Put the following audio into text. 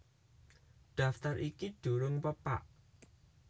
Daftar iki durung pepak